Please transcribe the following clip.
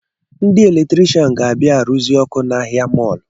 Ndị eletrishan ga-abịa aruzi ọkụ n’ahịa mọlụ